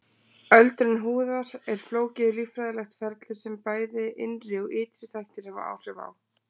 Öldrun húðar er flókið líffræðilegt ferli sem bæði innri og ytri þættir hafa áhrif á.